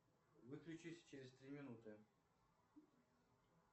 выключись через три минуты